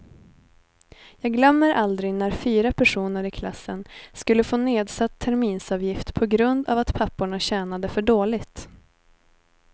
Jag glömmer aldrig när fyra personer i klassen skulle få nedsatt terminsavgift på grund av att papporna tjänade för dåligt.